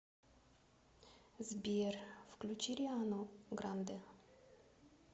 сбер включи риану грандэ